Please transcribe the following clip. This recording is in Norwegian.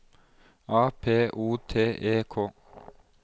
A P O T E K